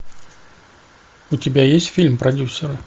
у тебя есть фильм продюсер